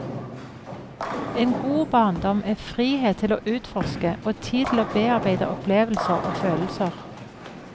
En god barndom er frihet til å utforske og tid til å bearbeide opplevelser og følelser.